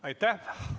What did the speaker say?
Aitäh!